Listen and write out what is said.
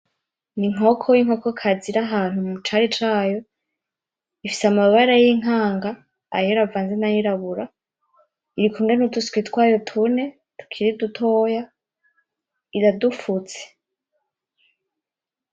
Ni inkoko y'inkoko kazi iri ahantu mu cari cayo. Ifise amabara y'inkanga, ayera avanze nay'irabura. Irikumwe n'uduswi twayo tune tukiri dutoya, iradufutse.